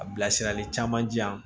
A bilasirali caman di yan